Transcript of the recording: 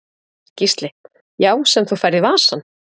Gísli: Já sem þú færð í vasann?